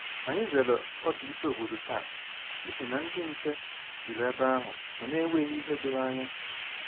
Ànyị zere ọdù ísì ọ̀bòdò taa n’ihi na ndị nche jùrù ebe ahụ ma na enweghị ìhè doro ànyà